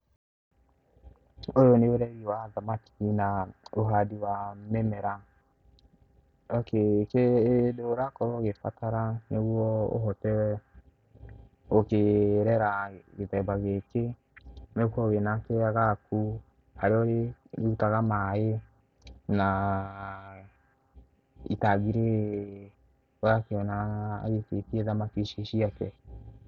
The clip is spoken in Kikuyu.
Ũyũ nĩ ũreri wa thamaki na ũhandi wa mĩmera, okay hĩndĩ ĩrĩa ũrakorwo ũgĩbatara, nĩguo ũhote gũkĩrera gĩthemba gĩkĩ, nĩ ũkorwo wĩ na kĩeya gaku, haria ũrĩrutaga maĩ, na itangi rĩrĩ ũrakiona aikĩtie thamaki ici ciake.